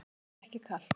Mér er ekki kalt.